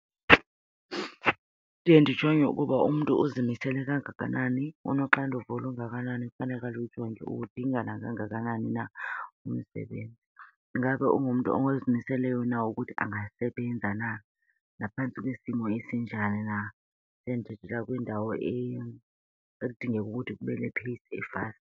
Ndiye ndijonge ukuba umntu uzimisele kangakanani unoxanduva olungakanani ekufaneke alujonge, uwudinga nakangakanani na umsebenzi. Ingabe ungumntu ozimiseleyo na ukuthi angasebenza na naphantsi kwesimo esinjani na? Sendithethela kwindawo ekudingeka ukuthi kube .